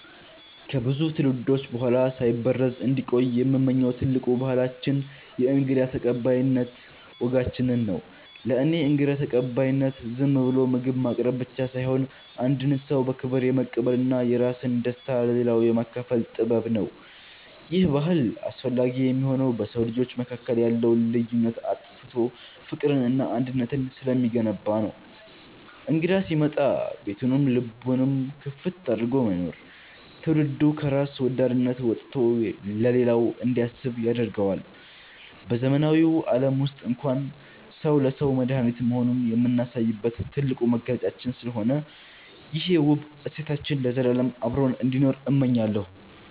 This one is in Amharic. ከብዙ ትውልዶች በኋላ ሳይበረዝ እንዲቆይ የምመኘው ትልቁ ባህላችን የእንግዳ ተቀባይነት ወጋችንን ነው። ለእኔ እንግዳ ተቀባይነት ዝም ብሎ ምግብ ማቅረብ ብቻ ሳይሆን፣ አንድን ሰው በክብር የመቀበልና የራስን ደስታ ለሌላው የማካፈል ጥበብ ነው። ይሄ ባህል አስፈላጊ የሚሆነው በሰው ልጆች መካከል ያለውን ልዩነት አጥፍቶ ፍቅርንና አንድነትን ስለሚገነባ ነው። እንግዳ ሲመጣ ቤቱንም ልቡንም ክፍት አድርጎ መኖር፣ ትውልዱ ከራስ ወዳድነት ወጥቶ ለሌላው እንዲያስብ ያደርገዋል። በዘመናዊው ዓለም ውስጥ እንኳን ሰው ለሰው መድኃኒት መሆኑን የምናሳይበት ትልቁ መገለጫችን ስለሆነ፣ ይሄ ውብ እሴታችን ለዘላለም አብሮን እንዲኖር እመኛለሁ።